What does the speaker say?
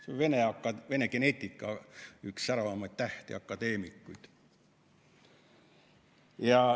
Ta on Vene geneetika üks säravaimaid tähti, akadeemik.